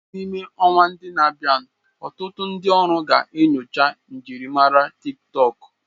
N'ime ọnwa ndi na-abịa, ọtụtụ ndi ọrụ ga-enyocha njirimara TikTọk.